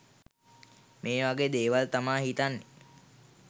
මේ වගේ දේවල් තමා හිතන්නේ